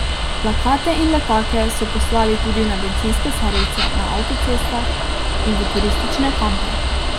Plakate in letake so poslali tudi na bencinske servise na avtocestah in v turistične kampe.